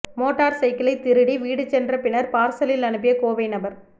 motor சைக்கிளை திருடி வீடு சென்ற பின்னர் பார்சலில் அனுப்பிய கோவை நபர்